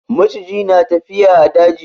Maciji na tafiya a daji.